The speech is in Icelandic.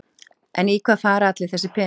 En í hvað fara allir þessir peningar?